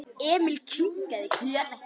Emil kinkaði kolli.